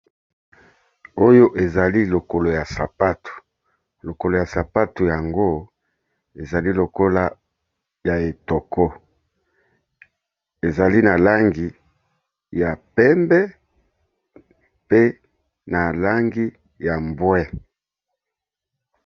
Oyo ezali lokolo ya sapato lokolo ya sapato yango ezali lokola ya etoko, ezali na langi ya pembe pe na langi ya mbwe.